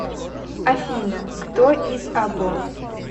афина кто из або